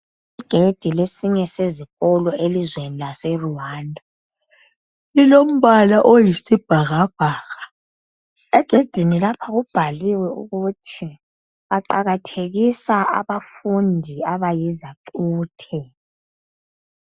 Igedi lesinye sezikolo elizweni laseRwanda. Lilombala oyisibhakabhaka. Egedini lapha kubhaliwe ukuthi baqakathekisa abafundi abayizacuthe.